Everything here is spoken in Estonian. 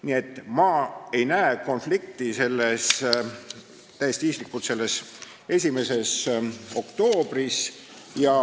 Nii et ma isiklikult ei näe konflikti selles 1. oktoobris.